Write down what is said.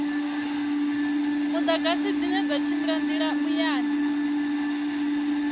mudagasi dzine dza tshimbila muyani